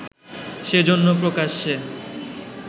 সেজন্য প্রকাশ্যে